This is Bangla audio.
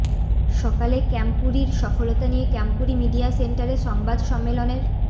সকালে ক্যাম্পুরির সফলতা নিয়ে ক্যাম্পুরি মিডিয়া সেন্টারে সংবাদ সম্মেলনের